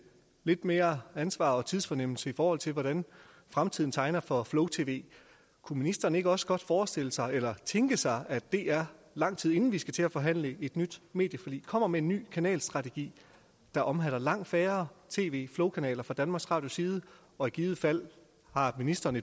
lidt mere ansvar og tidsfornemmelse i forhold til hvordan fremtiden tegner for flow tv kunne ministeren ikke også godt forestille sig eller tænke sig at dr lang tid inden vi skal til at forhandle et nyt medieforlig kommer med en ny kanalstrategi der omhandler langt færre tv flowkanaler fra danmarks radios side og i givet fald har ministeren